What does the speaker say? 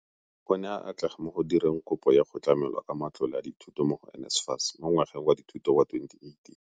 O ne a atlega mo go direng kopo ya go tlamelwa ka matlole a dithuto mo go NSFAS mo ngwageng wa dithuto wa 2018.